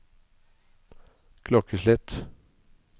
klokkeslett